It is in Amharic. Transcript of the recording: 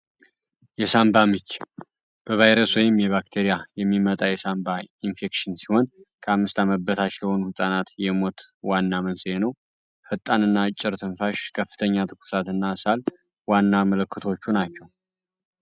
የሳምባ ምች በቫይረስ ወይም የባክቴሪያ የሚመጣ የሳንባ ኢንፌክሽን ሲሆን፤ ከአምስት ዓመት በታች ለሆኑ ሕፃናት ሞት ዋና መንስኤ ነው። ፈጣን እና አጭር ትንፋሽን ከፍተኛ ትኩሳት እና ሳል ዋና ምልክቶቹ ናቸው።